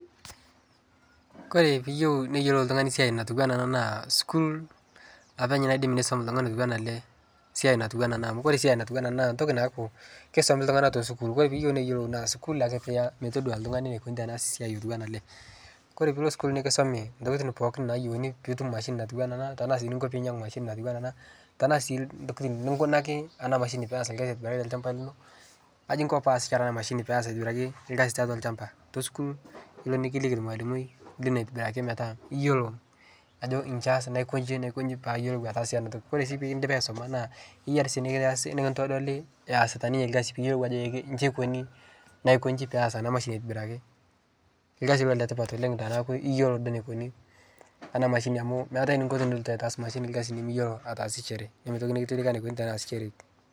kore piiyieu niyolou ltungani siai natuwaa anaa naa sukuul apeny naidim neisom ltungani otuwana alee siai natuwaa anaa amu kore siai natuwanaa anaa naa ntokii naaku keisomi ltungani te sukuul kore piiyeu neyelou naa sukuul akee piiya metodua ltungani neikoni metaasi otuwana alee kore piilo sukuul nikisomi ntokitin pooki nayeuni piitum mashini natuwanaa anaa tanaa sii ninkoo piinyengu mashini natuwanaa anaa tanaa sii ntokitin ninkunakii anaa mashini peyas lkazi aitibiraki te lshampa linoo aji inkoo piyasishore ana mashini peyas aitibiraki lkazi taatua lshampa tosukuul ilo nikiliki lmalimoi lino aitibirakii metaa iyoloo ajo nchii eyas naikonji naikonji paayelou ataasie anaa tokii kore sii pikindipi aisomaa naa keyarii sii neasi nikintodolii easita ninye lkazi piiyolou ajo ee nchii eikonii naikonjii peyas anaa mashini aitibiraki lkazi ilo letipat oleng tanaaku iyeloo duo neikunii anaa mashinii amu meatai ninko tinilotu aitaas mashini lkazi nimiyoloo ataasishere nemeitoki nikitilika neikuni tanaasishereki